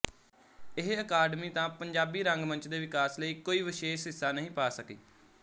ਇਹ ਅਕਾਡਮੀ ਤਾ ਪੰਜਾਬੀ ਰੰਗਮੰਚ ਦੇ ਵਿਕਾਸ ਲਈ ਕੋਈ ਵਿਸ਼ੇਸ਼ ਹਿੱਸਾ ਨਹੀਂ ਪਾ ਸਕੀ